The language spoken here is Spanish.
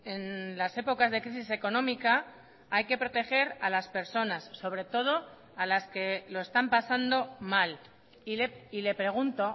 en las épocas de crisis económica hay que proteger a las personas sobre todo a las que lo están pasando mal y le pregunto